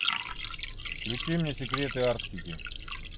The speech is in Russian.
включи мне секреты арктики